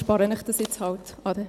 dies erspare ich Ihnen halt jetzt.